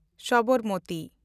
Sabarmati